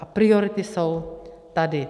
A priority jsou tady.